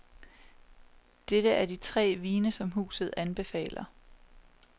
Dette er de tre vine som huset anbefaler.